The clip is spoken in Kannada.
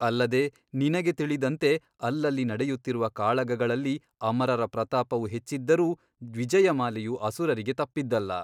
ಅಲ್ಲದೆ ನಿನಗೆ ತಿಳಿದಂತೆ ಅಲ್ಲಲ್ಲಿ ನಡೆಯುತ್ತಿರುವ ಕಾಳಗಗಳಲ್ಲಿ ಅಮರರ ಪ್ರತಾಪವು ಹೆಚ್ಚಿದ್ದರೂ ವಿಜಯಮಾಲೆಯು ಅಸುರರಿಗೆ ತಪ್ಪಿದ್ದಲ್ಲ.